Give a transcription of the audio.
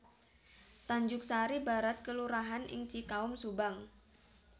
Tanjugsari Barat kelurahan ing Cikaum Subang